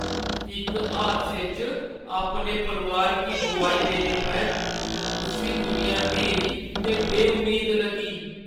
इक हादसे च अपने परोआर गी गोआई देने परैंत्त उस्सी दुनिया न्हेरी ते बे-उम्मीद लग्गी।